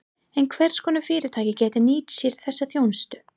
En hvers konar fyrirtæki geta nýtt sér þessa þjónustu?